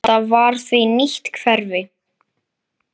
Þetta var því nýtt hverfi.